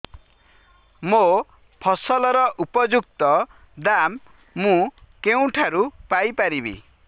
ମୋ ଫସଲର ଉପଯୁକ୍ତ ଦାମ୍ ମୁଁ କେଉଁଠାରୁ ପାଇ ପାରିବି